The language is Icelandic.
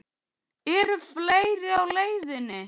Eru fleiri á leiðinni?